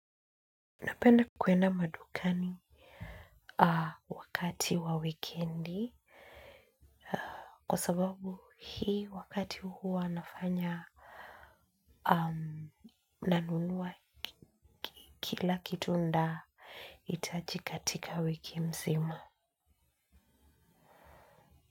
Napenda kuenda madukani wakati wa wikendi kwa sababu hii wakati huwa nafanya nanunua kila kitu nita hitaji katika wiki mzima.